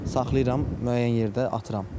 Saxlayıram müəyyən yerdə atıram.